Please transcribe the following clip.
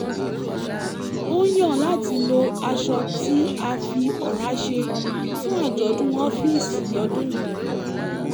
ó yàn láti lo aṣọ tí a fi ọ̀rá ṣe fún àjọ̀dún ọ́fíìsì lọ́dún yìí